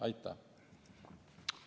Aitäh!